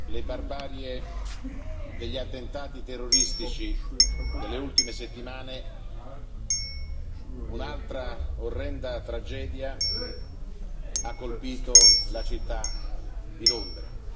Dopo le barbarie degli attentati terroristici delle ultime settimane, un'altra orrenda tragedia ha colpito la città di Londra.